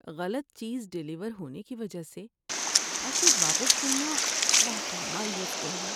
غلط چیز ڈیلیور ہونے کی وجہ سے پیکیج واپس کرنا واقعی مایوس کن ہے۔